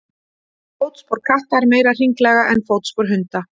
Fótspor katta er meira hringlaga en fótspor hunda.